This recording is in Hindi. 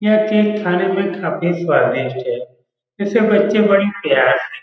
यह केक खाने में काफी स्वादिष्ट है। इसे बच्चे बड़े प्यार से --